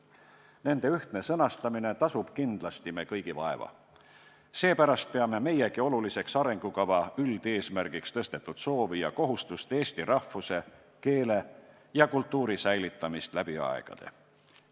Nende ühtne sõnastamine tasub kindlasti me kõigi vaeva, seepärast peame meiegi oluliseks arengukava üldeesmärgiks tõstetud soovi ja kohustust, et eesti rahvus, keel ja kultuur säiliksid läbi aegade.